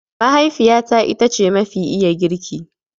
Mahaifiyata ita ce mafi iya girki.